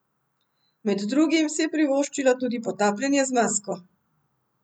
Med drugim si je privoščila tudi potapljanje z masko.